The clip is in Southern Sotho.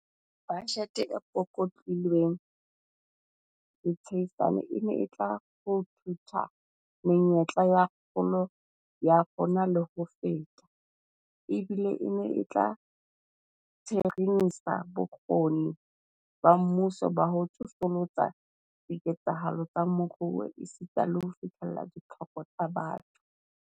Bajete e pukutlilweng ditsiane e ne e tla ruthutha menyetla ya kgolo ya rona le ho feta, ebile e ne e tla tsheremisa bokgoni ba mmuso ba ho tsosolosa diketsahalo tsa moruo esita le ho fihlella ditlhoko tsa batho.